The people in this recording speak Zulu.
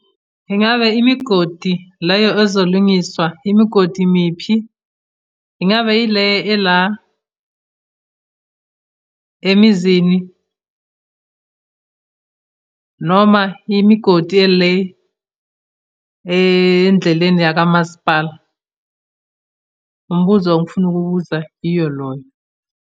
Ingabe imigodi leyo ezolungiswa, imigodi miphi? Ingabe yile ela emizini noma imigodi ele endleleni yakamasipala? Umbuzo engifuna ukuwubuza iyo loyo.